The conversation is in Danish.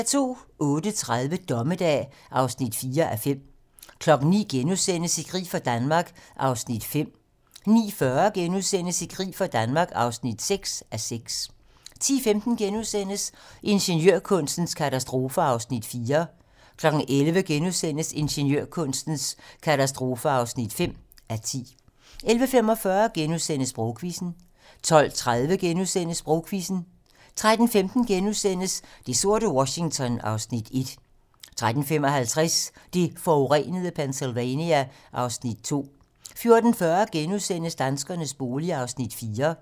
08:30: Dommedag (4:5) 09:00: I krig for Danmark (5:6)* 09:40: I krig for Danmark (6:6)* 10:15: Ingeniørkunstens katastrofer (4:10)* 11:00: Ingeniørkunstens katastrofer (5:10)* 11:45: Sprogquizzen * 12:30: Sprogquizzen * 13:15: Det sorte Washington (Afs. 1)* 13:55: Det forurenede Pennsylvania (Afs. 2) 14:40: Danskernes bolig (4:6)*